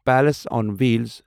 palace آن وھیلسِ